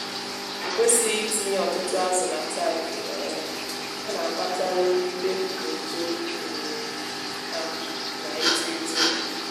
ekwésighi itinye ọtụtụ ázù nà tankị um ọ na-akpata nrụgide na uto um ha na-ito eto